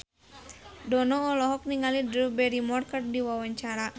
Dono olohok ningali Drew Barrymore keur diwawancara